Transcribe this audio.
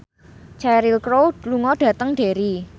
Cheryl Crow lunga dhateng Derry